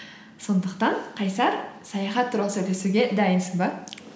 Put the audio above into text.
сондықтан қайсар саяхат туралы сөйлесуге дайынсың ба